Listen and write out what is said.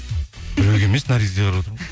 біреуге емес наргизге қарап